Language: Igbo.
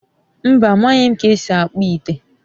mba, amaghi m ka esi akpu ite